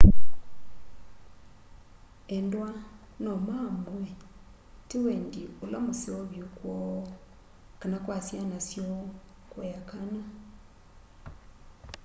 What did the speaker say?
endwa no maamũe tĩ wendĩ ũla mũseo vyũ kwoo kana kwa syana syoo kũea kana